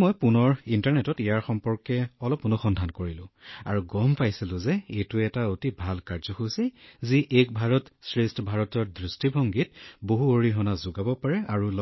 মই পুনৰ ইণ্টাৰনেটত অলপ অনুসন্ধান কৰিলো আৰু মই জানিব পাৰিলো যে এইটো এটা অতি ভাল কাৰ্যসূচী যি এক ভাৰত শ্ৰেষ্ঠ ভাৰতৰ দৃষ্টিভংগীত যথেষ্ট অৰিহণা যোগাব পাৰে আৰু